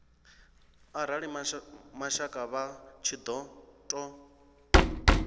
arali mashaka vha tshi ṱo